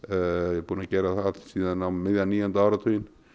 er búinn að gera það síðan um miðjan níunda áratuginn